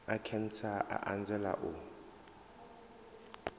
a khentsa a anzela u